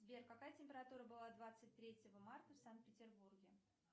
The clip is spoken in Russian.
сбер какая температура была двадцать третьего марта в санкт петербурге